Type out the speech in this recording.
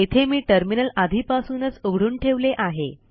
येथे मी टर्मिनल आधीपासूनच उघडून ठेवले आहे